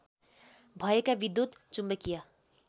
भएका विद्युत् चुम्बकीय